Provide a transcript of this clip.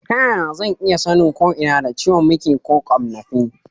Ta yaya zan iya sanin ko ina da ciwon miki ko ƙwannafi?